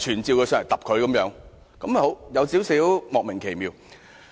這令我感到有少許莫名其妙。